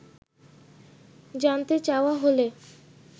জানতে চাওয়া হলে